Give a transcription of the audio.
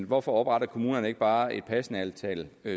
hvorfor opretter kommunerne ikke bare et passende antal